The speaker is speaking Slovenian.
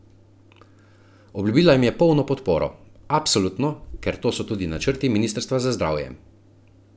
Obljubila jim je polno podporo: "Absolutno, ker to so tudi načrti ministrstva za zdravje.